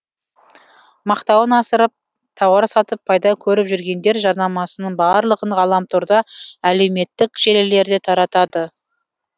мақтауын асырып тауар сатып пайда көріп жүргендер жарнамасының барлығын ғаламторда әлеуметтік желілерде таратады